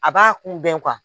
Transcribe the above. A b'a kunbɛn